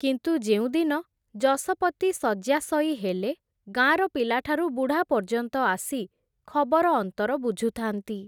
କିନ୍ତୁ ଯେଉଁଦିନ, ଯଶପତି ଶଯ୍ୟାଶୟୀ ହେଲେ, ଗାଁର ପିଲାଠାରୁ ବୁଢ଼ା ପର୍ଯ୍ୟନ୍ତ ଆସି, ଖବର ଅନ୍ତର ବୁଝୁଥାନ୍ତି ।